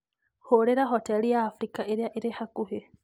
Hũũrĩra hoteri ya Abirika ĩrĩa ĩrĩ hakuhĩ